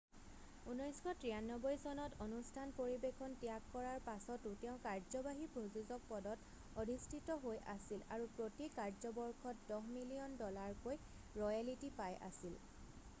1993 চনত অনুষ্ঠান পৰিবেশন ত্যাগ কৰাৰ পাছতো তেওঁ কাৰ্যবাহী প্ৰযোজক পদত অধিষ্ঠিত হৈ আছিল, আৰু প্ৰতি কাৰ্যবৰ্ষত দহ মিলিয়ন ডলাৰকৈ ৰয়েলটি পাই আছিল।